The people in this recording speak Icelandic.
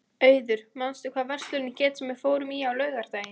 Auður, manstu hvað verslunin hét sem við fórum í á laugardaginn?